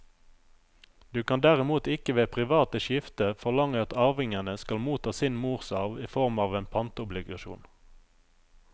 Du kan derimot ikke ved privat skifte forlange at arvingene skal motta sin morsarv i form av en pantobligasjon.